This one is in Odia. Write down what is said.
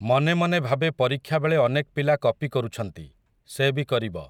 ମନେ ମନେ ଭାବେ ପରୀକ୍ଷାବେଳେ ଅନେକ୍ ପିଲା କପି କରୁଛନ୍ତି, ସେ ବି କରିବ ।